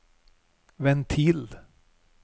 ventil